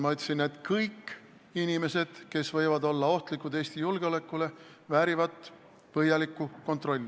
Ma ütlesin, et kõik inimesed, kes võivad olla ohtlikud Eesti julgeolekule, väärivad põhjalikku kontrolli.